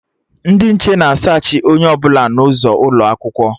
Ndị nche na a saachị onye ọbụla n'ọnụ ụzọ ụlọakwụkwọ